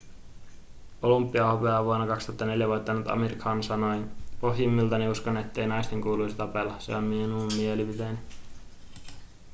olympiahopeaa vuonna 2004 voittanut amir khan sanoi pohjimmiltani uskon ettei naisten kuuluisi tapella se on minun mielipiteeni